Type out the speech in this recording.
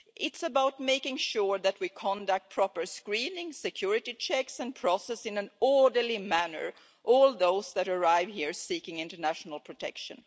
It's about making sure that we conduct proper screening, security checks and process in an orderly manner all those who arrive here seeking international protection.